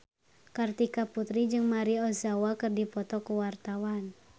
Kartika Putri jeung Maria Ozawa keur dipoto ku wartawan